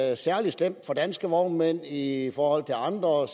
er særlig slemt for danske vognmænd i forhold til andre og